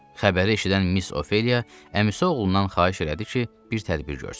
Xəbəri eşidən Miss Ofeliya əmisi oğlundan xahiş elədi ki, bir tədbir görsün.